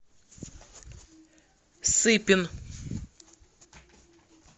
сыпин